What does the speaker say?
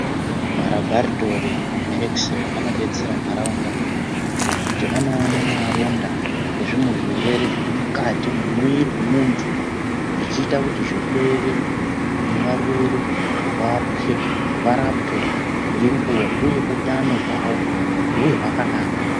Marabharitori neexreyi anodetsera ndaraunda nekuti anoona maronda nezvimwe zvirwere zviri mukati mwemwiiri wemuntu zvichiita kuti zvirwere nevarwere varapwe ngenguva uye utano hwavo huve hwakanaka.